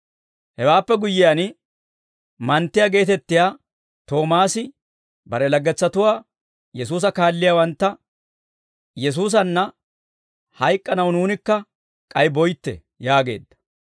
Hewaappe guyyiyaan, manttiyaa geetettiyaa Toomaasi bare laggetsatuwaa Yesuusa kaalliyaawantta, «Yesuusanna hayk'k'anaw nuunikka k'ay boytte!» yaageedda.